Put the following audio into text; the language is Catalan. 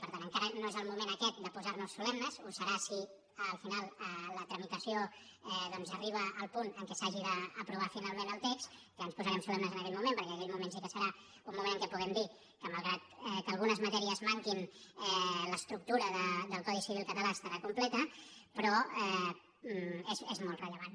per tant encara no és el moment aquest de posar nos solemnes ho serà si al final la tramitació doncs arriba al punt en què s’hagi d’aprovar finalment el text ja ens posarem solemnes en aquell moment perquè aquell moment sí que serà un moment en què puguem dir que malgrat que algunes matèries manquin l’estructura del codi civil català estarà completa però és molt rellevant